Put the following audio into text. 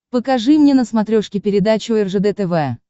покажи мне на смотрешке передачу ржд тв